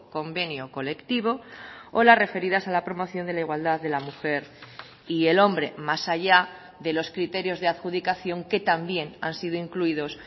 convenio colectivo o las referidas a la promoción de la igualdad de la mujer y el hombre más allá de los criterios de adjudicación que también han sido incluidos